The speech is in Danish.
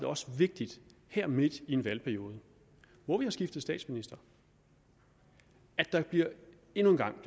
også vigtigt her midt i en valgperiode hvor vi har skiftet statsminister at der endnu en gang